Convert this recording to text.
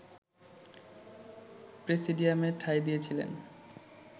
প্রেসিডিয়ামে ঠাঁই দিয়েছিলেন